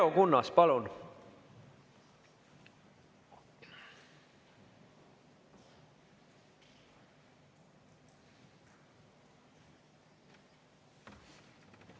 Leo Kunnas, palun!